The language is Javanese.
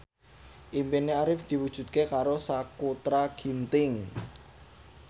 impine Arif diwujudke karo Sakutra Ginting